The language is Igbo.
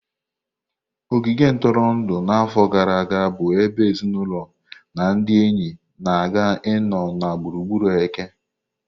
Ogige ntụrụndụ na afọ gara aga bu ebe ezinụlọ na ndị enyi na-aga ịnọ na gburugburu eke.